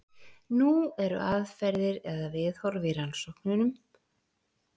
Nú eru aðferðir eða viðhorf í rannsóknum aftur á móti fjölbreytt.